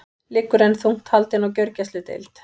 Liggur enn þungt haldin á gjörgæsludeild